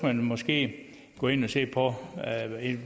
man måske gå ind og se på